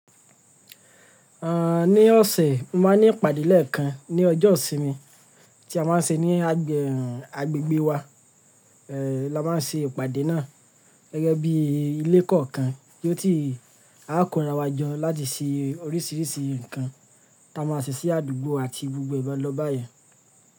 Àń, ní ọ̀sẹ̀, máa ní ìpàdé lẹ́ẹ̀kan ní ọjọ́ ìsinmi tí a máa ń ṣe ní agbẹ agbègbè wa. Ẹ̀, la máa ṣe ìpàdé náà gẹ́gẹ́ bí ilé kọ̀ọ̀kan bí ó ti àa ko ra wa jọ láti ṣe oríṣiríṣi nǹkan táa máa ṣe sí àdúgbò àti gbogbo ee lọ báyìí.